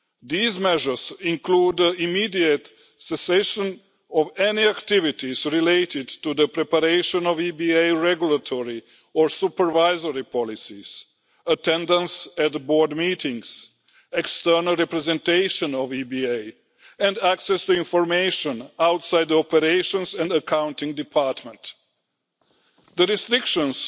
These measures include immediate cessation of any activities related to the preparation of EBA regulatory or supervisory policies, attendance at Board meetings, external representation of EBA and access to information outside the operations and accounting department. The restrictions